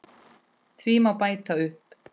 Því má bæta upp